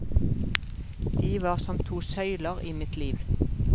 De var som to søyler i mitt liv.